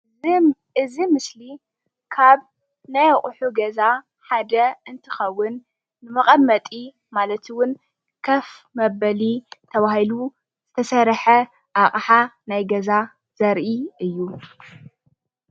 እዚ ምስሊ ካብ ናይ ኣቕሑ ገዛ ሓደ እንትኸውን መቐመጢ ማለት እውን ከፍ መበሊ ተባሂሉ ዝተሰርሐ ናይ ኣቕሓ ናይ ገዛ ዘርኢ እዩ።